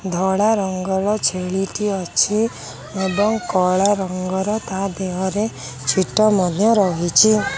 ଧଳା ରଙ୍ଗ ର ଛେଳି ଟିଏ ଅଛି ଏବଂ କଳା ରଙ୍ଗର ତା ଦେହରେ ଛିଟ ମଧ୍ୟ ରହିଛି।